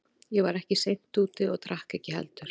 Ég var ekki seint úti og drakk ekki heldur.